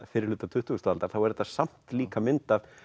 fyrri hluta tuttugustu aldar þá er þetta líka mynd af